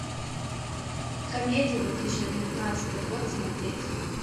комедии две тысячи девятнадцатый год смотреть